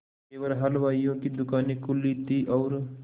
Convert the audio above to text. केवल हलवाइयों की दूकानें खुली थी और